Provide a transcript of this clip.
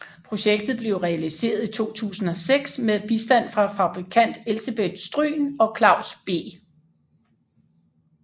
Projektet blev realiseret i 2006 med bistand fra fabrikant Elsebeth Stryhn og Claus B